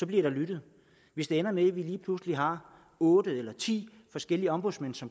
bliver der lyttet hvis det ender med at vi lige pludselig har otte eller ti forskellige ombudsmænd så